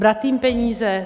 Brát jim peníze?